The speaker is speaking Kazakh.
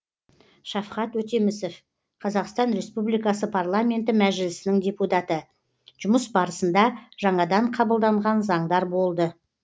шавхат өтемісов қр парламенті мәжілісінің депутаты жұмыс барысында жаңадан қабылданған заңдар болды